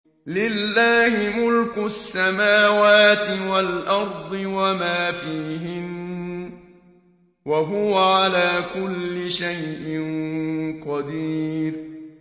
لِلَّهِ مُلْكُ السَّمَاوَاتِ وَالْأَرْضِ وَمَا فِيهِنَّ ۚ وَهُوَ عَلَىٰ كُلِّ شَيْءٍ قَدِيرٌ